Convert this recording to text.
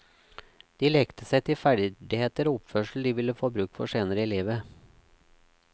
De lekte seg til ferdigheter og oppførsel de ville få bruk for senere i livet.